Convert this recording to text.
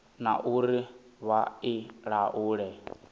na uri vha i laule